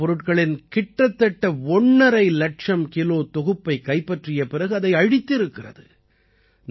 போதைப் பொருட்களின் கிட்டத்தட்ட ஒண்ணரை இலட்சம் கிலோ தொகுப்பைக் கைப்பற்றிய பிறகு அதை அழித்திருக்கிறது